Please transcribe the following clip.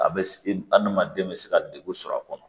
A bɛ adamaden bɛ se ka degun sɔrɔ a kɔnɔ